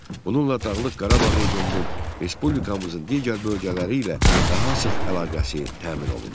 Bununla Dağlıq Qarabağ regionunun respublikamızın digər bölgələri ilə daha sıx əlaqəsi təmin olundu.